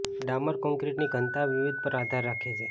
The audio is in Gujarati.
ડામર કોંક્રિટની ઘનતા વિવિધ પર આધાર રાખે છે